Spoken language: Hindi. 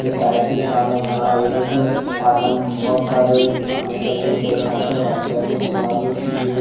ये टाइल्स की दुकान है यहा एक डिपार्टमेंट में बहुत सारी दुकाने लगी हुई है यहा पे राईट साइड में दीवार भी उठी हुई है।